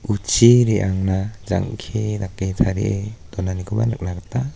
uchi re·angna jang·ke dake tarie donanikoba nikna gita--